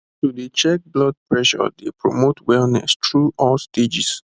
to dey check blood pressure dey promote wellness through all stages